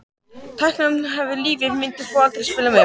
Tækla hann Hvaða liði myndir þú aldrei spila með?